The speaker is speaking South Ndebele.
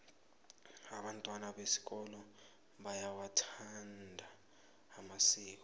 abantwana besikolo bayawathanda amasiko